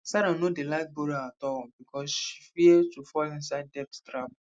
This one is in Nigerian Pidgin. sarah no dey like borrow at all because she fear to fall inside debt trap